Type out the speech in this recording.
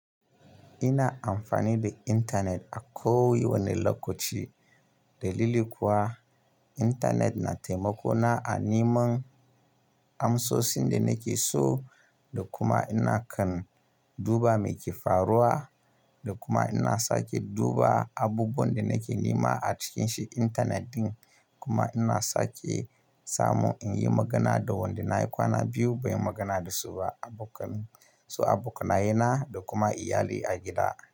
Ina amfani da intanet a ko wanne lokaci. Dalili kuwa, intanet na taimako na a nai man amsosin da nake so da kuma ina kan duba me ke faruwa da kuma ina sake duba abubuwan da nake nima a cikin shi intanet ɗin. Kuma ina sake samu in yi magana da wanda na yi kwana biyu ban yi magana da su ba, abokan su, abokanaye na da kuma iyalai a gida.